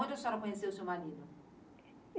Onde a senhora conheceu o seu marido?